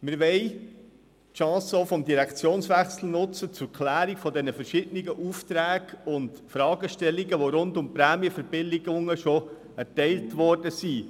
Wir wollen auch die Chance des Direktionswechsels zur Klärung der verschiedenen Aufträge und Fragestellungen nutzen, die rund um die Prämienverbilligungen schon erteilt worden sind.